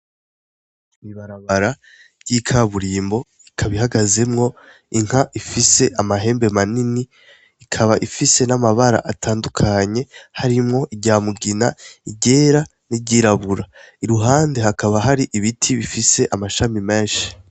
Bibarabara ry'ikaburimbo ikaba Ihagazemwo inka ifise amahembe manini ikaba ifise n'amabara atandukanye harimwo iryamugina, igera n'iryirabura iruhande hakaba hari ibiti bifise amashami menshi.